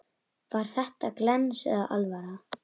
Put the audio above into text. Var þetta glens eða alvara?